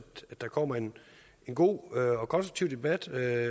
der kommer en god og konstruktiv debat og